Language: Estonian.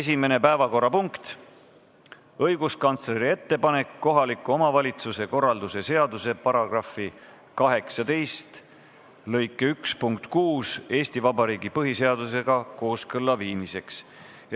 Esimene päevakorrapunkt on õiguskantsleri ettepanek kohaliku omavalitsuse korralduse seaduse § 18 lõike 1 punkti 6 Eesti Vabariigi põhiseadusega kooskõlla viimiseks.